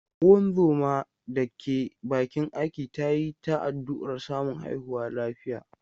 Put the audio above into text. Ungozoma da ke bakin aiki ta yi ta addu’ar samun haihuwa lafiya.